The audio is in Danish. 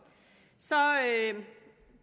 sara at